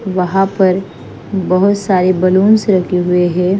वहाँ पर बहुत सारे बैलून्स रखे हुए हैं।